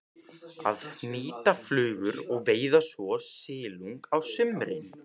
Að hnýta flugur og veiða svo silung á sumrin.